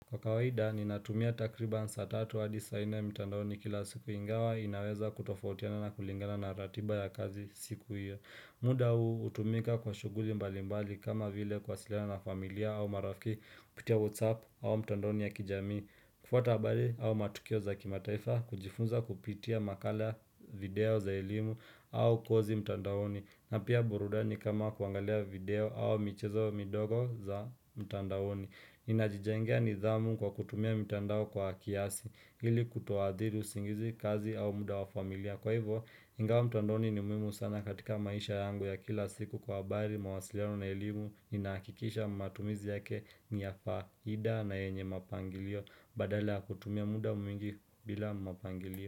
Kwa kawaida ninatumia takriba saa tatu hadi saa nne mtandaoni kila siku ingawa inaweza kutofautiana na kulingana na ratiba ya kazi siku hiyo muda huu hutumika kwa shughuli mbalimbali kama vile kuwasiliana na familia au marafiki kupitia whatsapp au mtandaoni ya kijamii kufuata habari au matukio za kimataifa kujifunza kupitia makala video za elimu au kozi mtandaoni na pia burudani kama kuangalia video au michezo midogo za mtandaoni ninajijengia nidhamu kwa kutumia mtandao kwa kiasi Hili kutuathiri usingizi kazi au muda wa familia Kwa hivo, ingawa mtandoni ni muhimu sana katika maisha yangu ya kila siku kwa habari mawasiliano na elimu inahakikisha matumizi yake ni ya faida na yenye mapangilio Badalanl ya kutumia muda mwingi bila mapangilio.